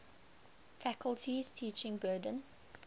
faculty's teaching burden